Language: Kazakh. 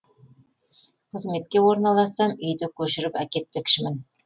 қызметке орналассам үйді көшіріп әкетпекшімін